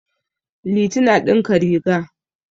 Liti na ɗinka riga.